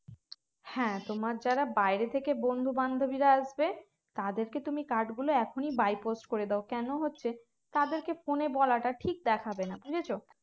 হ্যাঁ তোমার যারা বাইরে থেকে বন্ধু বান্ধবীরা আসবে তাদের কে তুমি card গুলো এখনই by post করে দেয় কেন হচ্ছে তাদেরকে phone এ বলাটা ঠিক দেখাবে না বুঝেছ